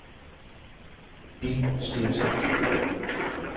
Bill Stentoft